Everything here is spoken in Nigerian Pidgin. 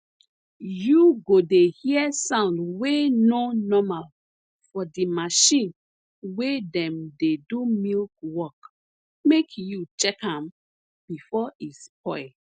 u go dey hear sound wey nor normal for de marchin wey dem dey do milk work make you check am before e spoil